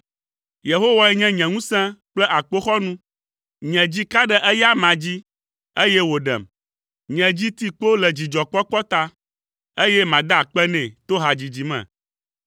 Yehowae nye nye ŋusẽ kple akpoxɔnu; nye dzi ka ɖe eya amea dzi, eye wòɖem. Nye dzi ti kpo le dzidzɔkpɔkpɔ ta, eye mada akpe nɛ to hadzidzi me.